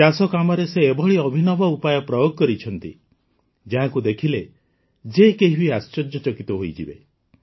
ଚାଷକାମରେ ସେ ଏଭଳି ଅଭିନବ ଉପାୟ ପ୍ରୟୋଗ କରିଛନ୍ତି ଯାହାକୁ ଦେଖିଲେ ଯେ କେହି ବି ଆଶ୍ଚର୍ଯ୍ୟଚକିତ ହୋଇଯିବେ